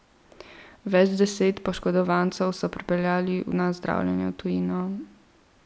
Več deset poškodovancev so prepeljali na zdravljenje v tujino.